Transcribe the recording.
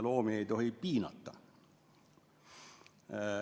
Loomi ei tohi piinata.